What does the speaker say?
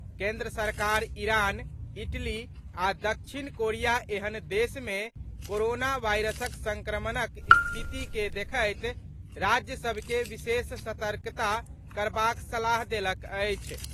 केन्द्र सरकार Iran, Italy आ दक्षिण कोरिया एहेन देश मे कोरोना वायरसक संक्रमणक स्थिति के देखैत राज्य सभ के विशेष सतर्कता करबाक सलाह देलक अछि।